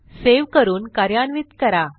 save करून कार्यान्वित करा